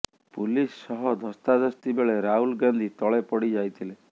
police ସହ ଧସ୍ତାଧସ୍ତି ବେଳେ ରାହୁଲ ଗାନ୍ଧି ତଳେ ପଡ଼ି ଯାଇଥିଲେ